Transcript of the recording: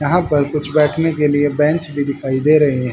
यहां पर कुछ बैठने के लिए बेंच भी दिखाई दे रहे हैं।